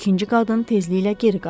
İkinci qadın tezliklə geri qayıtdı.